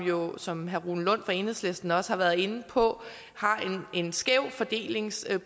jo som herre rune lund fra enhedslisten også har været inde på har en skæv fordelingsprofil